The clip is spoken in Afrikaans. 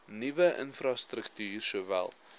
nuwe infrastruktuur sowel